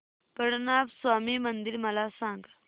पद्मनाभ स्वामी मंदिर मला सांग